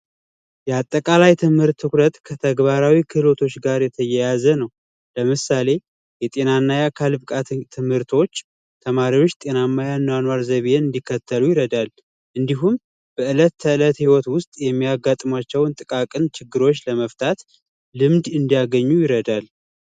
የአጠቃላይ የትምህርት ትኩረት ከተግባራዊ ክህሎቶች ጋር የተያያዘ ነው። ለምሳሌ የጤና እና የአካል ብቃት ትምህርቶች ተማሪዎች ጤናማ የአኗኗር ዘይቤን እንዲከተሉ ይረዳናል። እንዲሁም በእለት ከእለት ህይወት ውስጥ የሚያጋጥሟቸውን ችግሮች ልምድ ይሰጣል።